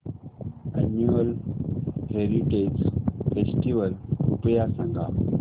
annual heritage festival कृपया सांगा